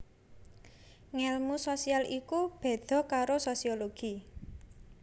Ngèlmu sosial iku béda karo Sosiologi